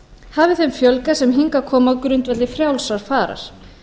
hafi þeim fjölgað sem hingað koma á grundvelli frjálsrar farar